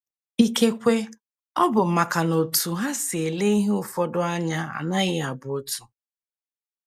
Ikekwe, ọ bụ maka na otú ha si ele ihe ụfọdụ anya anaghị abụ otu.